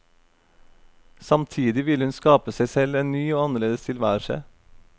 Samtidig vil hun skape seg selv en ny og annerledes tilværelse.